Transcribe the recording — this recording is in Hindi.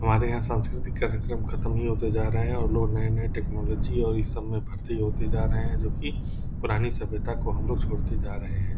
हमारे यहाँ संस्कृति का कार्यकम खत्म हुआ तो जा रहे है और लोग नये-नये टेक्नोलोजी और इस सब में भर्ती होते जा रहे है जो कि पुरानी सभ्यता को हम लोग छोड़ते जा रहे है।